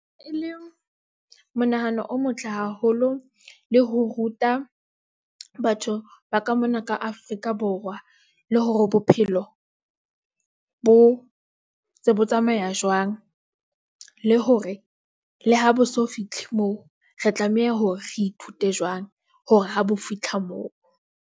E le monahano o motle haholo le ho ruta batho ba ka mona ka Afrika - Borwa.Le hore bophelo bo tse bo tsamaya jwang, le hore le ha bo so fihle moo, re tlameha hore re ithute jwang hore ha bo fitlha moo.